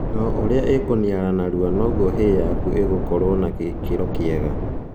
O ũria ĩkũniara narua noguo hay yaku ĩgũkorwo na gĩkĩro kiega